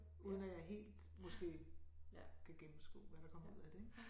Uden at jeg helt måske kan gennemskue hvad der kommer ud af det ik